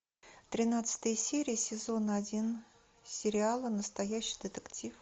тринадцатая серия сезона один сериала настоящий детектив